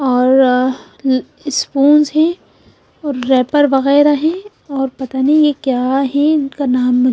और इस स्पून्स हैं और रॅपर बघेरा ही और पता नही ये क्या हैं उनका नाम --